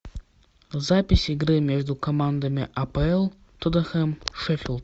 запись игры между командами апл тоттенхэм шеффилд